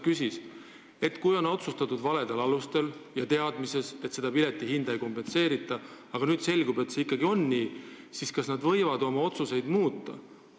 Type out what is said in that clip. Kui on otsustatud valedel alustel ja teadmises, et piletihinda ei kompenseerita, aga nüüd selgub, et see ikkagi on nii, siis kas nad võivad oma otsuseid muuta?